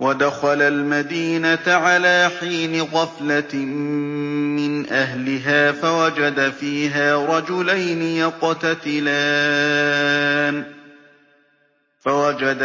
وَدَخَلَ الْمَدِينَةَ عَلَىٰ حِينِ غَفْلَةٍ مِّنْ أَهْلِهَا فَوَجَدَ